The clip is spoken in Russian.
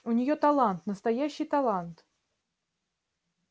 у неё талант настоящий талант